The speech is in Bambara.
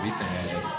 U bɛ sɛgɛn yɛrɛ de